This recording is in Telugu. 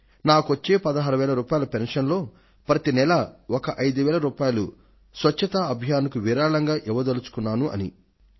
నాకు వచ్చే 16000 రూపాయల పెన్షన్ లో ప్రతి నెల ఒక 5000 రూపాయలు స్వచ్ఛ భారత్ అభియాన్ కు విరాళంటా ఇవ్వదల్చుకుంటున్నాను అంటూ